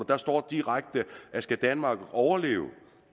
der står direkte at skal danmark overleve